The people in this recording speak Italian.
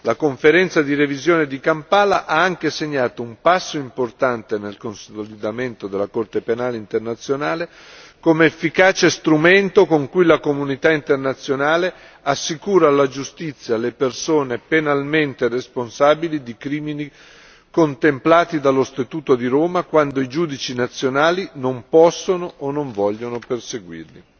La Conferenza di revisione di Kampala ha anche segnato un passo importante nel consolidamento della Corte penale internazionale come efficace strumento con cui la comunità internazionale assicura alla giustizia le persone penalmente responsabili di crimini contemplati dallo Statuto di Roma quando i giudici nazionali non possono o non vogliono perseguirli.